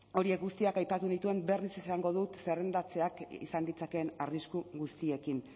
horiek guztiak aipatu nituen berriz esango dut zerrendatzeak izan ditzakeen arrisku guztiekin